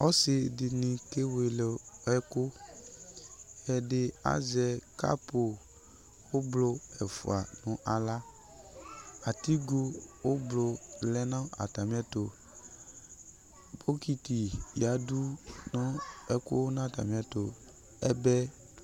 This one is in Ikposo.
Ɔsɩ dɩnɩ kele ɛkʋ Ɛdɩ azɛ kapʋ ʋblʋ ɛfʋa nʋ aɣla Atigo ʋblʋ lɛ nʋ atamɩɛtʋ Bɔkɩtɩ yǝdu nʋ ɛkʋ nʋ atamɩɛtʋ Ɛbɛ